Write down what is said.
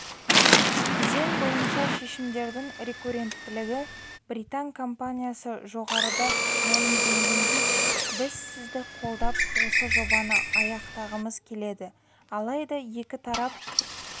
кезең бойынша шешімдердің рекурренттілігі британ компаниясы жоғарыда мәлімденгендей біз сізді қолдап осы жобаны аяқтағымыз келеді алайда екі тарап